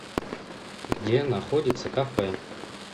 где находится кафе